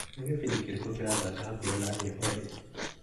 Nĩ gĩbindi kĩrĩkũ kĩrathaka hakuhĩ na niĩ olĩ?